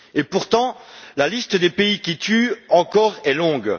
Pourtant, la liste des pays qui tuent encore est longue.